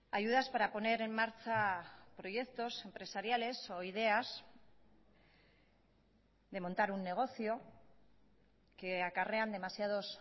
ayudas para poner en marcha proyectos empresariales o ideas de montar un negocio que acarrean demasiados